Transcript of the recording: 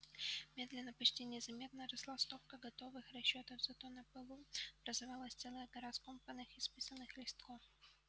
медленно почти незаметно росла стопка готовых расчётов зато на полу образовалась целая гора скомканных исписанных листков